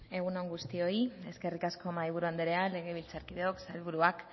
egun on guztioi legebiltzarkideak sailburuak